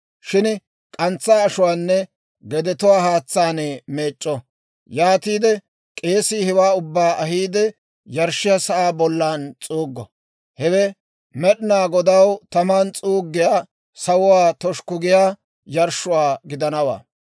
Shin k'antsaa ashuwaanne gedetuwaa haatsaan meec'c'o; yaatiide k'eesii hewaa ubbaa ahiide yarshshiyaa sa'aa bollan s'uuggo; hewe Med'inaa Godaw taman s'uuggiyaa, sawuwaa toshukku giyaa yarshshuwaa gidanawaa.